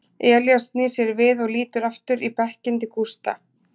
Elías snýr sér við og lítur aftur í bekkinn til Gústa.